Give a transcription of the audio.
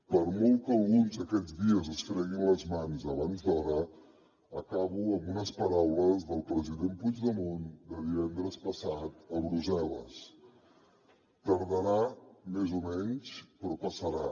per molt que alguns aquests dies es freguin les mans abans d’hora acabo amb unes paraules del president puigdemont de divendres passat a brussel·les tardarà més o menys però passarà